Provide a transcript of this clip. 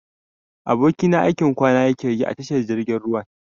Abokina aikin kwana yakeyi a tashar jirgin ruwan.